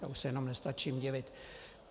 Já už se jenom nestačím divit.